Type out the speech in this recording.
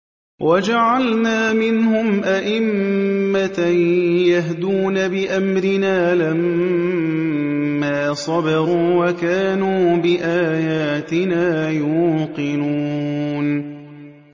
وَجَعَلْنَا مِنْهُمْ أَئِمَّةً يَهْدُونَ بِأَمْرِنَا لَمَّا صَبَرُوا ۖ وَكَانُوا بِآيَاتِنَا يُوقِنُونَ